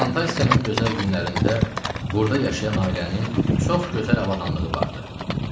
Plantasiyanın gözəl günlərində burda yaşayan ailənin çox gözəl avadanlığı vardı.